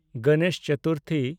Ganesh Chaturthi